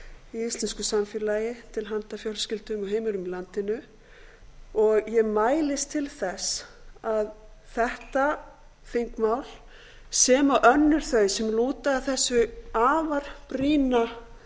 í íslensku samfélagi til handa fjölskyldum og heimilum í landinu ég mælist til þess að þetta þingmál sem og önnur þau sem sem lúta að þessu afar brýna